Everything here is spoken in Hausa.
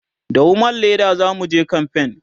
da woman Leda zamuje kamfen